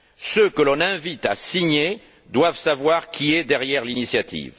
Ceux que l'on invite à signer doivent savoir qui est derrière l'initiative.